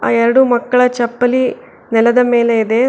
ಎರಡು ಮಕ್ಕಳ ಚಪ್ಪಲಿ ನೆಲದ ಮೇಲೆ ಇದೆ.